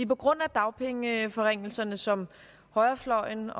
på grund af dagpengeforringelserne som højrefløjen